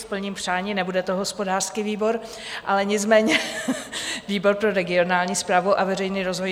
Splním přání, nebude to hospodářský výbor, ale nicméně výbor pro regionální správu a veřejný rozvoj.